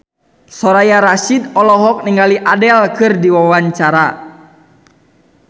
Soraya Rasyid olohok ningali Adele keur diwawancara